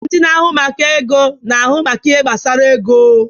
Ndị na-ahụ maka ego na-ahụ maka ihe gbasara ego.